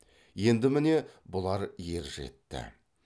енді міне бұлар ержетті